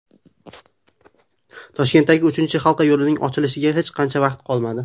Toshkentdagi uchinchi halqa yo‘lining ochilishiga hech qancha vaqt qolmadi.